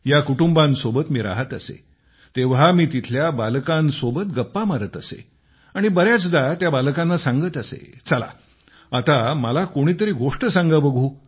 या कुटुंबांसोबत मी राहत असे तेव्हा मी तेथील बालकांसोबत गप्पा मारत असे आणि बरेचदा त्या बालकांना सांगत असे चला आता मला कोणीतरी गोष्ट सांगा बघू